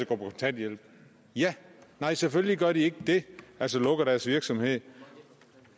kontanthjælp nej selvfølgelig gør de ikke det altså lukker deres virksomhed